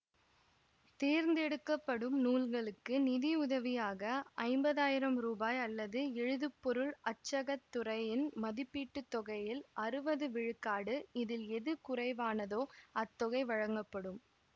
தேர்ந்தெடுக்கப்படும் நூல்களுக்கு நிதியுதவியாக ஐம்பதாயிரம் ரூபாய் அல்லது எழுதுப்பொருள் அச்சகத் துறையின் மதிப்பீட்டு தொகையில் அறுவது விழுக்காடு இதில் எது குறைவானதோ அத்தொகை வழங்கப்படும்